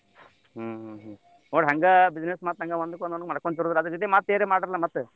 ಹ್ಮ್ ಹ್ಮ್ ಹ್ಮ್ ನೋಡ್ರಿ ಹಂಗ business ಮತ್ತ್ ಒಂದ್ಕೊಂದ್ ಒಂದ್ಕೊಂದ ಮಾಡಕೋಂತ್ತ ಇರದ್ದರ್ರೀ ಅದರ್ ಜೊತಿ ಮತ್ತೇನಾರ ಮಾಡ್ರಲ್ಲ.